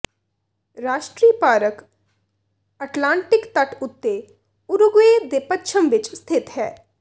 ਰਾਸ਼ਟਰੀ park Atlantic ਤੱਟ ਉੱਤੇ ਉਰੂਗਵੇ ਦੇ ਪੱਛਮ ਵਿੱਚ ਸਥਿਤ ਹੈ